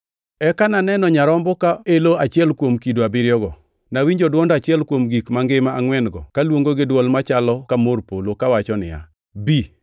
Eka naneno Nyarombo ka elo achiel kuom kido abiriyogo. Nawinjo dwond achiel kuom gik mangima angʼwen-go kaluongo gi dwol machalo ka mor polo, kawacho niya; “Bi!”